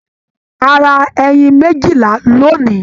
A ra ẹyìn méjìlá lónì.